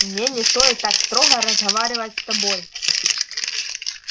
мне не стоит так строго разговаривать с тобой